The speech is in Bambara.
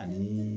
Ani